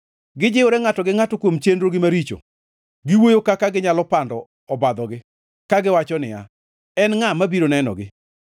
Gijiwore ngʼato gi ngʼato kuom chenrogi maricho, giwuoyo kaka ginyalo pando obadhogi, kagiwacho niya, “En ngʼa mabiro nenogi?”